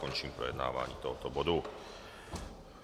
Končím projednávání tohoto bodu.